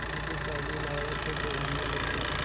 यौवन की पहली लहरों को जगाने लगी